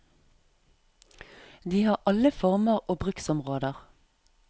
De har alle former og bruksområder.